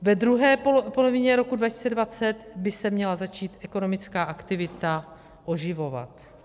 Ve druhé polovině roku 2020 by se měla začít ekonomická aktivita oživovat.